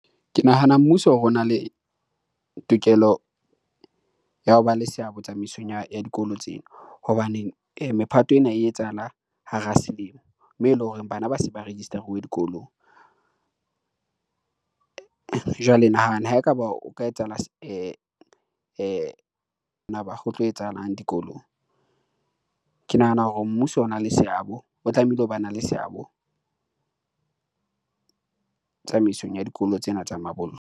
Ke nahana mmuso o na le tokelo ya ho ba le seabo tsamaisong ya dikolo tsena, hobane mephato ena e etsahala hara selemo moo e leng hore bana ba se ba register-uwe dikolong. Jwale nahana ha ekaba o ka etsahala ho tlo etsahalang dikolong. Ke nahana hore mmuso o na le seabo, o tlamehile o ba na le seabo tsamaisong ya dikolo tsena tsa mabollo.